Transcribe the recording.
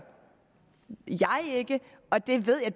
ikke og det ved jeg